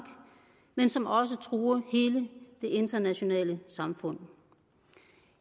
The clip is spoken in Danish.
men som også truer hele det internationale samfund